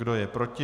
Kdo je proti?